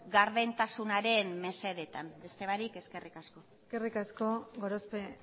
gardentasunaren mesedetan beste barik eskerrik asko eskerrik asko gorospe